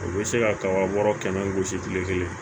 U bɛ se ka kabarɛ kɛmɛ gosi kile kelen